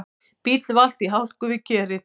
Bíll valt í hálku við Kerið